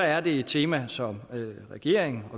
er det et tema som vi i regeringen